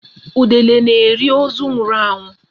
Udele na-eri ozu nwụrụ anwụ.